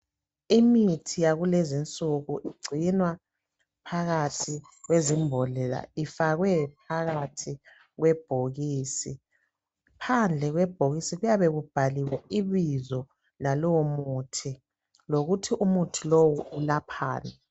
Imithi yakulezi insuku igcinwa phakathi kwezimbodlela ifakwe phakathi kwebhokisi. Phandle kwebhokisi kuyabe kubhaliwe ibizo lalowo muthi lokuthi umuthi lowu ulaphani.